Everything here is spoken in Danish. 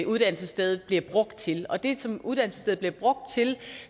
uddannelsesstedet bliver brugt til og det som uddannelsesstedet bliver brugt til